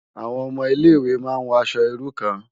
Awòn òmò Ilé Iwé má n wò aṣò irú kàn